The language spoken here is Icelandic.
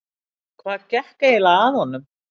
Hvað gekk eiginlega að honum?